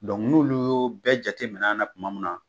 n'olu y'o bɛɛ jate minɛ na tuma min na.